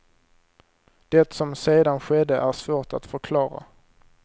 Det som sedan skedde är svårt att förklara.